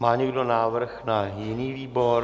Má někdo návrh na jiný výbor?